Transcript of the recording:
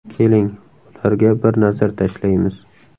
Keling, ularga bir nazar tashlaymiz.